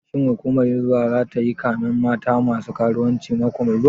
Shin hukumar hizba zata yi kamen mata masu karuwanci mako mai zuwa?